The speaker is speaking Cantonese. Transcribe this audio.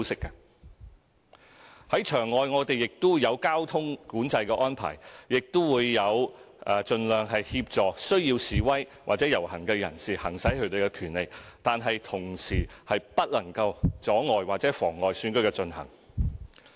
我們在場外有交通管制安排，亦會盡量協助需要示威或遊行的人士行使他們的權利，但同時他們不能阻礙或妨礙選舉進行。